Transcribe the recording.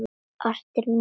Ástin mín.